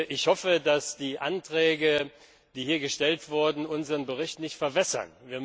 Ich hoffe, dass die Anträge, die hier gestellt wurden, unseren Bericht nicht verwässern.